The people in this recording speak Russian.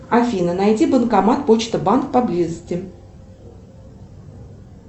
афина найди банкомат почта банк поблизости